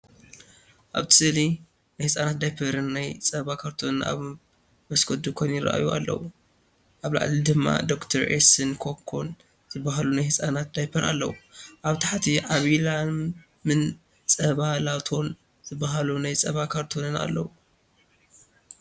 ኣብቲ ስእሊ ናይ ህጻናት ዳያፐርን ናይ ጸባ ካርቶንን ኣብ መስኮት ድኳን ይራኣዩ ኣለዉ። ኣብ ላዕሊ ድማ “ዶክተር ኤስ”ን “ኮኮ”ን ዝበሃሉ ናይ ህጻናት ዳያፐር ኣለዉ። ኣብ ታሕቲ “ዓባይ ላም”ን “ጸባ ላቶ”ን ዝበሃሉ ናይ ጸባ ካርቶናት ኣለዉ።